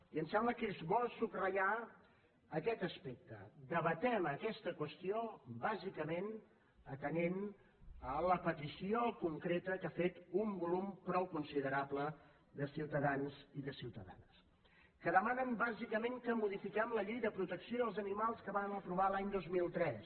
i em sembla que és bo subratllar aquest aspecte debatem aquesta qüestió bàsicament atenent la petició concreta que ha fet un volum prou considerable de ciutadans i de ciutadanes que demanen bàsicament que modifiquem la llei de protecció dels animals que vam aprovar l’any dos mil tres